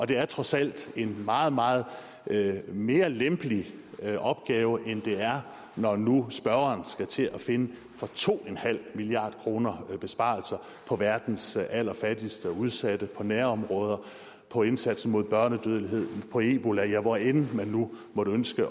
det er trods alt en meget meget mere lempelig opgave end det er når nu spørgeren skal til at finde for to milliard kroner besparelser på verdens allerfattigste og udsatte på nærområder på indsatsen mod børnedødelighed på ebola ja hvor end man nu måtte ønske